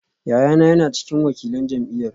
Yayana yana cikin wakilan jam’iyyar